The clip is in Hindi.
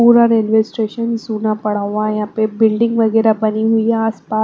पूरा रेलवे स्टेशन सूना पड़ा हुआ है यहां पे बिल्डिंग वगैरह बनी हुई है आसपास---